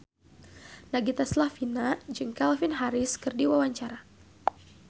Nagita Slavina olohok ningali Calvin Harris keur diwawancara